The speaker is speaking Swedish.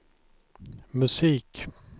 musik